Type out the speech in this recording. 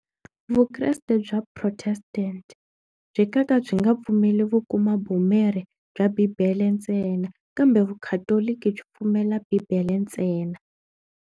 Vukreste bya protestant byi kaka byi nga pfumeli ku kuma bya Bibele ntsena kambe vukhatoloki byi pfumela Bibele ntsena.